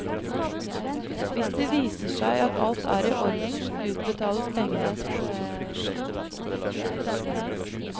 Hvis det viser seg at alt er i orden, utbetales pengene.